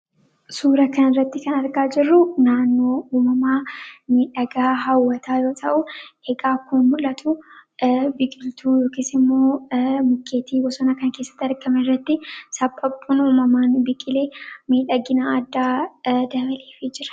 Suura kana irratti kan argaa jirru naannoo uumamaa miidhagaa, hawwataa yoo ta'u, egaa akkuma mul'atu biqiltuu yookaas ammoo mukkeetii bosona kanaa keessatti argaman irratti saphaphuun umamaan biqilee miidhagina addaa dabaleefii jira.